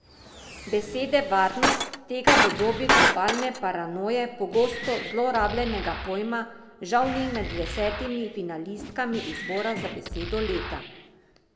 Besede varnost, tega v dobi globalne paranoje pogosto zlorabljenega pojma, žal ni med desetimi finalistkami izbora za besedo leta.